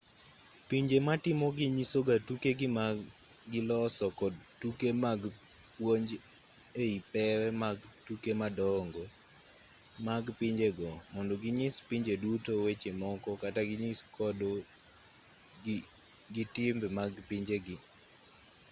pinje matimogi nyisoga tukegi ma giloso kod tuke mag puonj ei pewe mag tuke madongo mag pinjego mondo ginyis pinje duto weche moko kata ginyis kodo gi timbe mag pinjegi